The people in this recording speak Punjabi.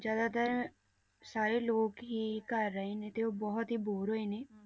ਜ਼ਿਆਦਾਤਰ ਸਾਰੇ ਲੋਕ ਹੀ ਘਰ ਰਹੇ ਨੇ ਤੇ ਉਹ ਬਹੁਤ ਹੀ bore ਹੋਏ ਨੇ,